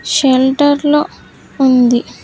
Shelter లో ఉంది.